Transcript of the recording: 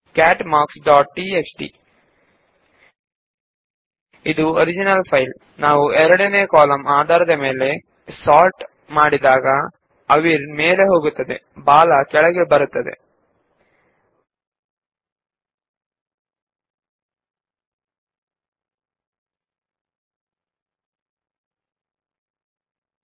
cat marks dot TXT ನಾವು ಎರಡನೇ ಕಾಲಂಗೆ ತಕ್ಕಂತೆ ಮಾತ್ರ ವಿಂಗಡಣೆ ಮಾಡಿದಾಗ ನಿಮಗೆ ಅವಿರ್ ಮೇಲೆ ಹೋಗಿ ಬಾಲಾ ಕೆಳಗೆ ಬಂದಿರುವುದು ಕಂಡುಬಂದರೆ ಅದು ಮೂಲ ಫೈಲ್ ಎಂದರ್ಥ